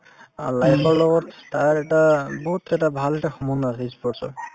অ, life ৰ লগত তাৰ এটা বহুত এটা ভাল এটা সম্বন্ধ আছে ই sport ৰ